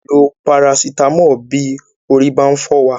A lè lo Parasitamọ́ọ̀ bí orí bá ń fọ́ wa.